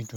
ìtàn.